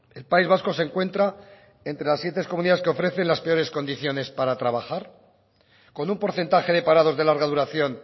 el país vasco se encuentra entre las siete comunidades que ofrecen las peores condiciones para trabajar con un porcentaje de parados de larga duración